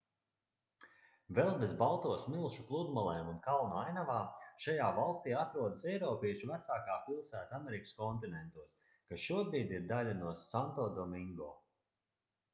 vēl bez balto smilšu pludmalēm un kalnu ainavām šajā valstī atrodas eiropiešu vecākā pilsēta amerikas kontinentos kas šobrīd ir daļa no santodomingo